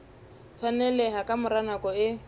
tshwaneleha ka mora nako e